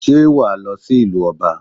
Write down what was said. Sé wà á lọ sí ìlú Ọba?